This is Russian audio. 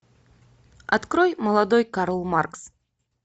открой молодой карл маркс